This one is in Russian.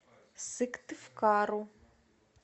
сыктывкару